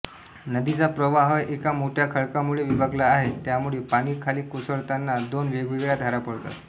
नदीचा प्रवाह एका मोठ्या खडकामुळे विभागला आहे त्यामुळे पाणी खाली कोसळताना दोन वेगवेगळ्या धारा पडतात